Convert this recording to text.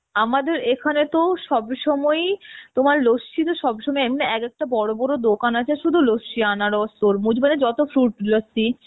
আমাদের এখানে তো সবসময়ই আমার লস্যি তো সবসময়ই এম এক একটা বড় বড় দোকান আছে শুধু লস্যি আনারস তরমুজ মানে যত fruit লস্যি,